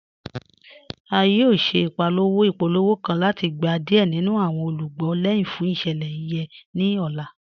À yóò ṣẹ̀ ipòlówò ipòlówò kàn láti gbà diẹ̀ nínu awọn olúgbọ̀ lẹ́hin fún iṣẹ̀lẹ̀ yẹn ni ọ̀là.